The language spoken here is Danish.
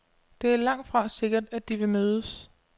Det er langtfra sikkert, at de vil mødes.